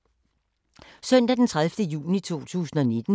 Søndag d. 30. juni 2019